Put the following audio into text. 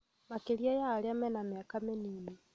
makĩria arĩa mena mĩaka mĩnini.